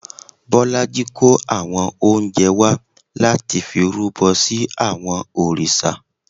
Bọlájí kó àwọn oúnjẹ wá láti fi rúbọ sí àwọn òrìṣà